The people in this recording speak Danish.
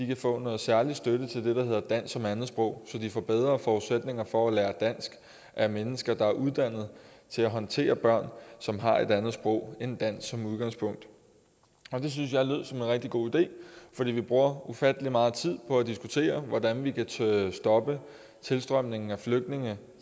kan få noget særlig støtte til det der hedder dansk som andetsprog så de får bedre forudsætninger for at lære dansk af mennesker der er uddannet til at håndtere børn som har et andet sprog end dansk som udgangspunkt det synes jeg lød som en rigtig god idé for vi bruger ufattelig meget tid på at diskutere hvordan vi kan stoppe tilstrømningen af flygtninge